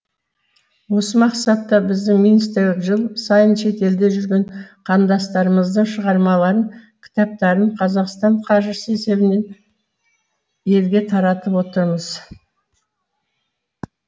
осы мақсатта біздің министрлік жыл сайын шетелде жүрген қандастарымыздың шығармаларын кітаптарын қазақстан қаржысы есебінен елге таратып отырмыз